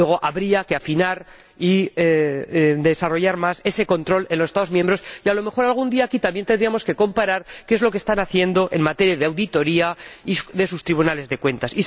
Luego, habría que afinar y desarrollar más ese control en los Estados miembros y, a lo mejor, algún día aquí también tendríamos que comparar qué es lo que están haciendo en materia de auditoría sus tribunales de cuentas.